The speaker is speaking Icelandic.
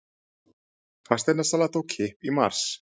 Fasteignasala tók kipp í mars